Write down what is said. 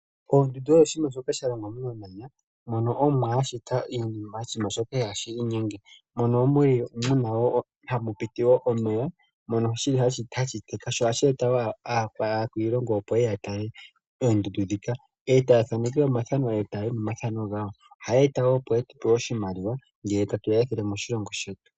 Ondundu oyo oshinima shoka sha shitwa momamanya mono Omuwa a shita oshinima shoka ihaashi inyenge, mono hamu piti omeya, mono hashi eta wo aakwiilongo ye ye ya tale oondundu ndhika. Ohaya thaneke wo omathano e taya yi nomathano gawo. Ohaya eta wo oshimaliwa ngele tatu ya ethele moshilongo shetu.